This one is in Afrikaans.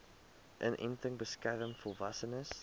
inenting beskerm volwassenes